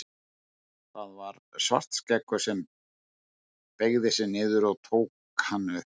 Það var Svartskeggur sem beygði sig niður og tók hann upp.